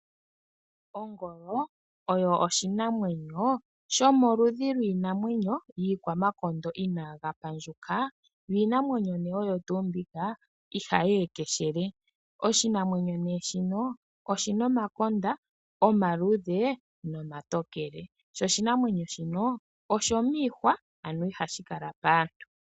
Ongolo oyo oshinamwenyo shomo ludhi lwiinamwenyo yi kwamakondo inaga pandjuka, iinamwenyo oyo tuu mbika ihayi ekeshele. Oshinamwenyo shino oshina omakonda omluudhe nomatokele sho oshinamwenyo shino oshomihwa ihashi kala paantu.